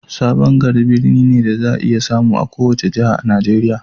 Sabon Gari birni ne da za a iya samu a kowace jiha a Nigeriya.